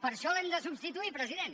per això l’hem de substituir president